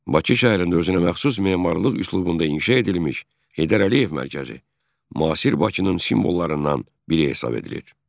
Bakı şəhərində özünəməxsus memarlıq üslubunda inşa edilmiş Heydər Əliyev Mərkəzi müasir Bakının simvollarından biri hesab edilir.